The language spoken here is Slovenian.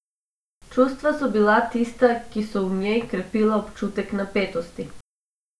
Čustva so bila tista, ki so v njej krepila občutek napetosti.